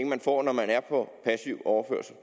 man får når man er på passiv overførsel